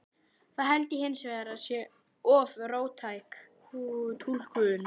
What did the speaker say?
Það held ég hins vegar að sé of róttæk túlkun.